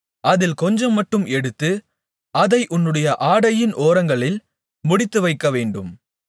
அதில் கொஞ்சம்மட்டும் எடுத்து அதை உன்னுடைய ஆடையின் ஓரங்களில் முடிந்துவைக்கவேண்டும்